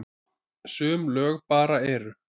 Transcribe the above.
Sum lög bara eru.